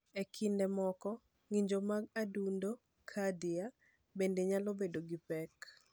E kinde moko, ng’injo mag adundo (cardia) bende nyalo bedo gi pek.